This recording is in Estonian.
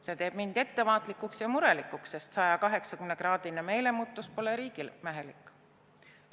See teeb mind ettevaatlikuks ja murelikus, sest 180-kraadine meelemuutus pole riigimehelik.